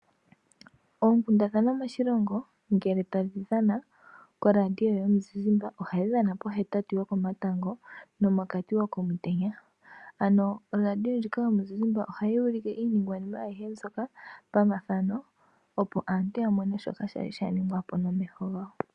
Oonkundathana ngele tadhi dhana koradio yomu zizimba, ohadhi dhana pohetatu yoko matango nomokati komutenya. Ano oradio ndjika yomuzizimba ohayi ulike iiningwanima ayihe pamathano, opo aantu ya mone ashihe shoka shalj sh ningwapo nomeho gawo.